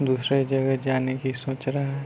दूसरे जगह जाने की सोच रहा।